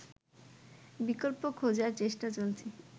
বিকল্প খোঁজার চেষ্টা চলছে